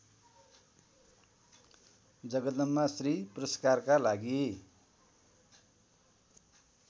जगदम्बाश्री पुरस्कारका लागि